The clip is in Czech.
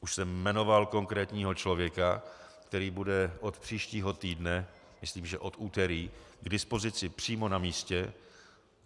Už jsem jmenoval konkrétního člověka, který bude od příštího týdne, myslím, že od úterý, k dispozici přímo na místě.